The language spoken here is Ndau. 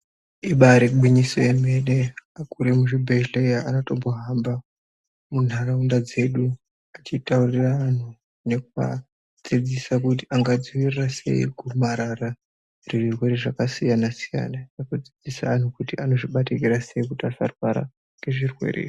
Ibari gwinyiso yemene akuru emuzvibhedhleya anotombohamba ntaraunda dzedu echitaurira antu nekuadzidzisa kuti angadziwirira sei gomarara nezvirwere zvakasiyana siyana nekudzidzise antu kuti anozvibatikira sei kuti asarwara ngezvirwere izvi.